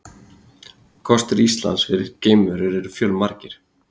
Kostir Íslands fyrir geimverur eru fjölmargir.